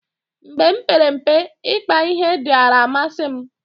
mgbe m mpere mpe, ikpa ihe diara amasi m